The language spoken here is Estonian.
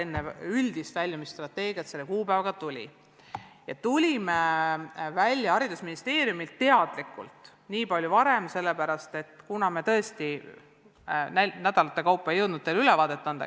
Me tulime ministeeriumiga selle kuupäevaga teadlikult nii palju varem välja sellepärast, et me tõesti ei jõudnud igal nädalal teile ülevaadet anda.